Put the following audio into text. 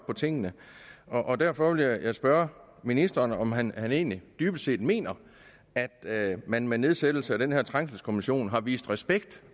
på tingene derfor vil jeg spørge ministeren om han han egentlig dybest set mener at man med nedsættelse af den her trængselskommission har vist respekt